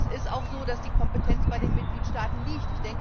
Es ist auch so, dass die Kompetenz bei den Mitgliedstaaten liegt.